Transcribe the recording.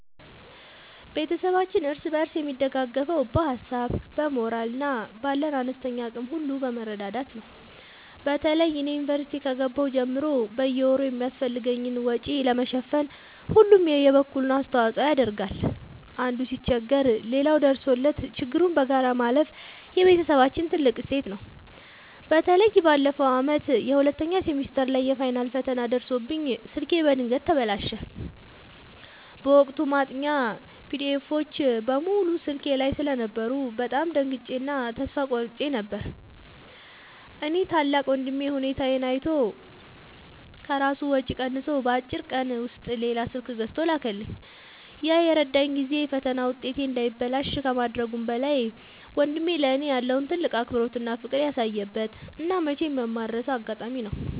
ቤተሰባችን እርስ በርስ የሚደጋገፈው በሀሳብ፣ በሞራል እና ባለን አነስተኛ አቅም ሁሉ በመረዳዳት ነው። በተለይ እኔ ዩኒቨርሲቲ ከገባሁ ጀምሮ በየወሩ የሚያስፈልገኝን ወጪ ለመሸፈን ሁሉም የበኩሉን አስተዋጽኦ ያደርጋል። አንዱ ሲቸገር ሌላው ደርሶለት ችግሩን በጋራ ማለፍ የቤተሰባችን ትልቅ እሴት ነው። በተለይ ባለፈው ዓመት ሁለተኛ ሴሚስተር ላይ የፋይናል ፈተና ደርሶብኝ ስልኬ በድንገት ተበላሸ። በወቅቱ ማጥኛ ፒዲኤፎች (PDFs) በሙሉ ስልኬ ላይ ስለነበሩ በጣም ደንግጬ እና ተስፋ ቆርጬ ነበር። ያኔ ታላቅ ወንድሜ ሁኔታዬን አይቶ ከራሱ ወጪ ቀንሶ በአጭር ቀን ውስጥ ሌላ ስልክ ገዝቶ ላከልኝ። ያ የረዳኝ ጊዜ የፈተና ውጤቴ እንዳይበላሽ ከማድረጉም በላይ፣ ወንድሜ ለእኔ ያለውን ትልቅ አክብሮትና ፍቅር ያሳየበት እና መቼም የማልረሳው አጋጣሚ ነው።